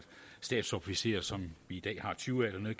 stabsofficerer som vi i dag har tyve af dernede